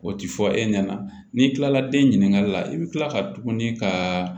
O ti fɔ e ɲɛna n'i tilala den ɲininkali la i bi kila ka tuguni ka